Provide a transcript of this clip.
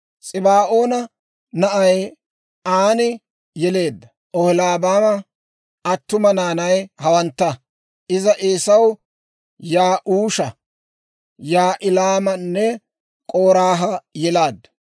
S'ibaa'oona na'ay Aani yeleedda Oholiibaama attuma naanay hawantta; iza Eesaw Ya'uusha, Yaa'ilaamanne K'oraaha yelaaddu.